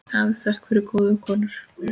Hafið þökk fyrir góðu konur.